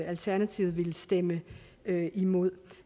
alternativet ville stemme imod